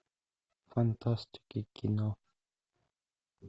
фантастика кино